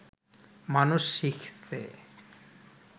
মানুষ শিখছে